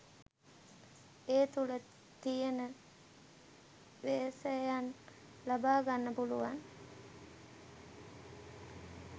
ඒතුල තියෙන වේශයන් ලබාගන්න පුළුවන්